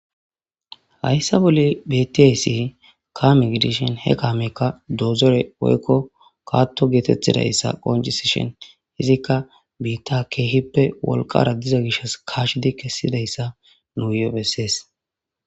Hayissa bolla betiyass kame gidishshin he kameyikka dozore woyikko Kato getetizayiss qonccisishshin izzikka bita kehippe wolqara diza gishshas kesidayissa guye besees .